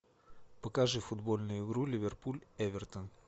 покажи футбольную игру ливерпуль эвертон